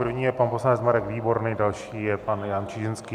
První je pan poslanec Marek Výborný, další je pan Jan Čižinský.